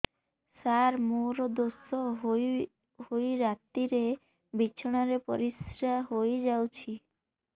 ସାର ମୋର ଦୋଷ ହୋଇ ରାତିରେ ବିଛଣାରେ ପରିସ୍ରା ହୋଇ ଯାଉଛି